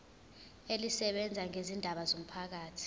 elisebenza ngezindaba zomphakathi